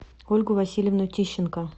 ольгу васильевну тищенко